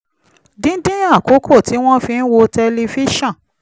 dídín àkókò tí wọ́n fi ń wo tẹlifíṣọ̀n